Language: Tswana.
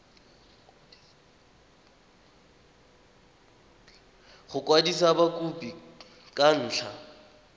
go kwadisa mokopi ka ntlha